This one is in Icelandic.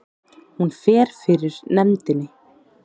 Hún fer fyrir nefndinni